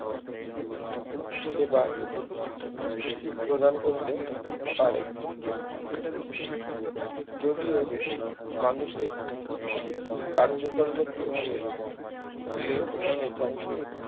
সেবা প্রদান করতে পারে যদিও মানুষের কার্যক্রমের প্রভাবে ক্লেববনের ধ্বংস